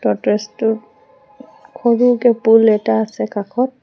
Tortoise টোৰ সৰুকে পুল এটা আছে কাষত।